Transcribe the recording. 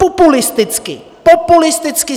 Populisticky, populisticky!